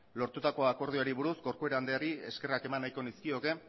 lortutako akordioari buruz corcuera andreari eskerrak eman nahiko nizkioke